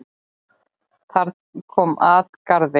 Þar kom at garði